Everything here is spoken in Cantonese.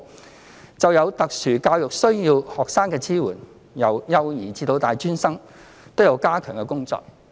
關於支援有特殊教育需要的學生，由幼兒至大專生皆有加強的工作。